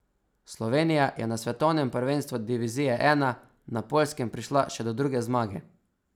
Slovenija je na svetovnem prvenstvu divizije I na Poljskem prišla še do druge zmage.